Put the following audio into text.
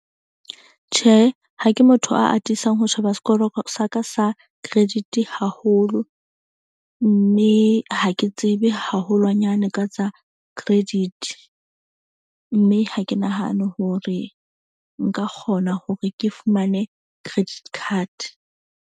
Tjhe, ha ke motho a atisang ho sheba sekoro sa ka sa credit haholo. Mme ha ke tsebe haholwanyane ka tsa credit. Mme ha ke nahane hore nka kgona hore ke fumane credit card.